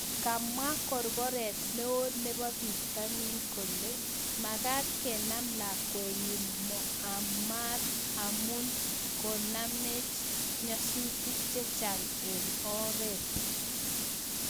Kamwaa korkoret neo neboo pitaniin kolee makaat kenam lakwenyin Muamar amuu kinamech nyasutik chechang eng oreet